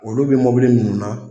Olu bɛ mɔbili minnu na